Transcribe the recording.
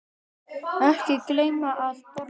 Ekki gleyma að borða.